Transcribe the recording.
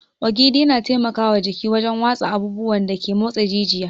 Ogiri yana taimaka wa jiki wajen watsa abubuwan da ke motsa jijiya.